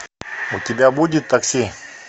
у тебя будет такси